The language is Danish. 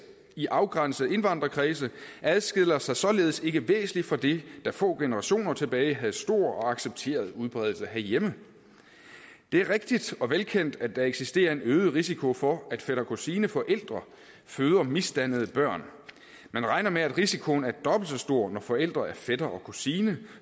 i afgrænsede indvandrerkredse adskiller sig således ikke væsentligt fra det der få generationer tilbage havde stor og accepteret udbredelse herhjemme det er rigtigt og velkendt at der eksisterer en øget risiko for at fætter kusine forældre føder misdannede børn man regner med at risikoen er dobbelt så stor når forældrene er fætter og kusine